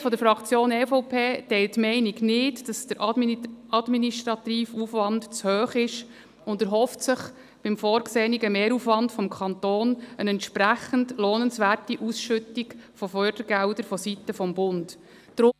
Die Mehrheit der Fraktion EVP teilt die Meinung nicht, dass der administrative Aufwand zu hoch sei, und erhofft sich beim vorgesehenen Mehraufwand seitens des Kantons eine entsprechend lohnenswerte Ausschüttung von Fördergeldern vonseiten des Bundes.